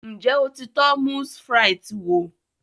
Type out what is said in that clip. Ǹjẹ́ o ti tọ́ Moules Frites wò?